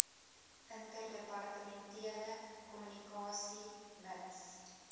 interdepartementele kommunikasie mits